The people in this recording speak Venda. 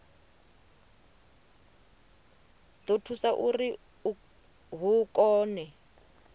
ḓo thusa uri hu kone